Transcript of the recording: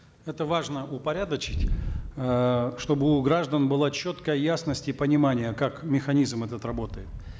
это важно упорядочить э чтобы у граждан была четкая ясность и понимание как механизм этот работает